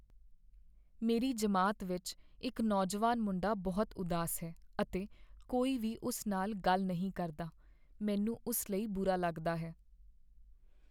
ਮੇਰੀ ਜਮਾਤ ਵਿੱਚ ਇਕ ਨੌਜਵਾਨ ਮੁੰਡਾ ਬਹੁਤ ਉਦਾਸ ਹੈ ਅਤੇ ਕੋਈ ਵੀ ਉਸ ਨਾਲ ਗੱਲ ਨਹੀਂ ਕਰਦਾ। ਮੈਨੂੰ ਉਸ ਲਈ ਬੁਰਾ ਲੱਗਦਾ ਹੈ।